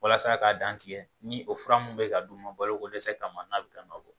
Walasa k'a dantigɛ ni o fura min bɛ ka d'u ma balokodɛsɛ ka ma n'a bɛ ka nɔbɔ.